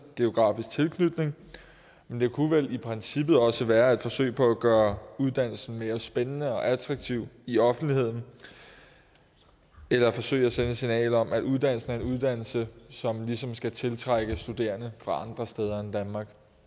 og geografisk tilknytning men det kunne vel i princippet også være et forsøg på at gøre uddannelsen mere spændende og attraktiv i offentligheden eller et forsøg på at sende et signal om at uddannelsen er en uddannelse som ligesom skal tiltrække studerende fra andre steder end danmark